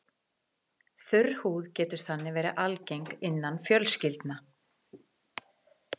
Þurr húð getur þannig verið algeng innan fjölskyldna.